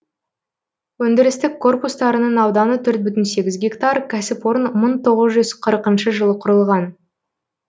өндірістік корпустарының ауданы төрт бүтін сегіз гектар кәсіпорын мың тоғыз жүз қырқыншы жылы құрылған